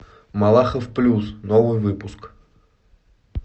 малахов плюс новый выпуск